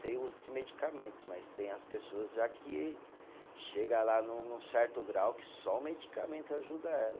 Sem o uso de medicamentos, mas tem as pessoas já que chega lá num num certo grau que só o medicamento ajuda elas.